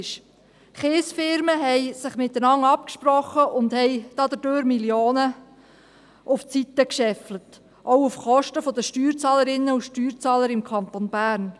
Die Kiesfirmen hatten sich miteinander abgesprochen und dadurch Millionen auf die Seite gescheffelt, auch auf Kosten der Steuerzahlerinnen und Steuerzahler im Kanton Bern.